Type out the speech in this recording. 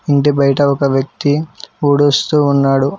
ఇంటి బయట ఒక వ్యక్తి ఉడుస్తూ ఉన్నాడు.